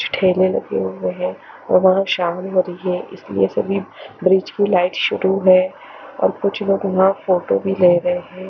ठेले लगे हुए हैं और वहां शाम होरी हैं इसलिए सभी ब्रिज की लाइट शुरू हैं और कुछ लोग वहाँ फोटो भी ले रहे हैं।